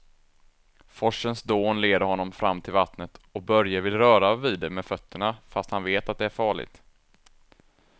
Forsens dån leder honom fram till vattnet och Börje vill röra vid det med fötterna, fast han vet att det är farligt.